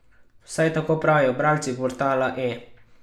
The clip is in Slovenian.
Vsaj tako pravijo bralci portala E!